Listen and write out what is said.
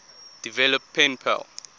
develop pen pal